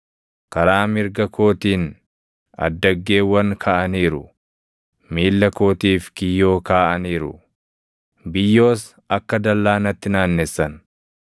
Karaa mirga kootiin addaggeewwan kaʼaniiru; miilla kootiif kiyyoo kaaʼaniiru; biyyoos akka dallaa natti naannessan.